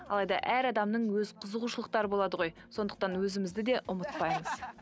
алайда әр адамның өз қызығушылықтары болады ғой сондықтан өзімізді де ұмытпаймыз